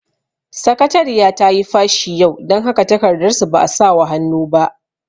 Sakatariya tayi fashi yau, dan haka takardar su ba a sawa hannu ba